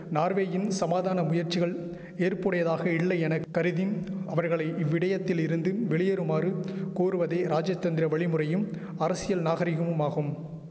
நார்வேயின் சமாதான முயற்சிகள் ஏற்புடையதாக இல்லை என கருதி அவர்களை இவ்விடயத்திலிருந்து வெளியேறுமாறு கூறுவதை ராஜதந்திர வழிமுறையும் அரசியல் நாகரிகமுமாகும்